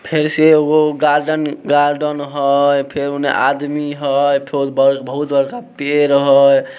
फेर से एगो गार्डेन हेय फेर उनने आदमी हेय फेर बहुत बड़का पेड़ हेय ।